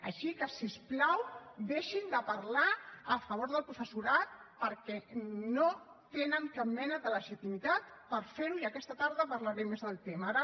així que si us plau deixin de parlar a favor del professorat perquè no tenen cap mena de legitimitat per ferho i aquesta tarda parlaré més del tema